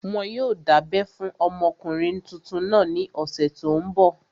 Wọn yóò dábẹ́ fún ọmọkùnrin tuntun náà ní ọ̀sẹ̀ tó n bọ̀